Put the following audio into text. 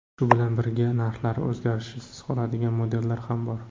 Shu bilan birga, narxlari o‘zgarishsiz qoladigan modellar ham bor.